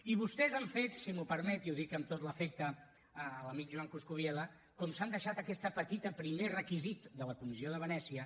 i vostès si m’ho permet i ho dic amb tot l’afecte a l’amic joan coscubiela com s’han deixat aquest petit primer requisit de la comissió de venècia